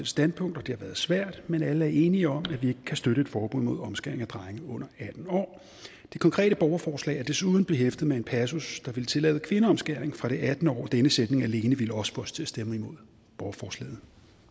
standpunkt det har været svært men alle er enige om at vi ikke kan støtte et forbud mod omskæring af drenge under atten år det konkrete borgerforslag er desuden behæftet med en passus der ville tillade kvindeomskæring fra det attende år denne sætning alene ville også få os til at stemme imod borgerforslaget